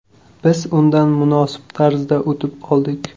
Biz undan munosib tarzda o‘tib oldik.